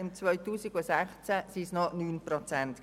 2016 betrug dieser Anteil 9 Prozent.